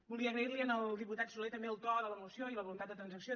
volia agrair li al diputat solé també el to de la moció i la voluntat de transacció